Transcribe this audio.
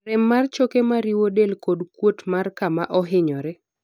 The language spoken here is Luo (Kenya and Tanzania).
rem mar choke mariwo del kod kuot mar kama ohinyore